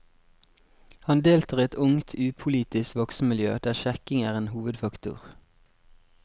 Han deltar i et ungt, upolitisk voksenmiljø der sjekking er en hovedfaktor.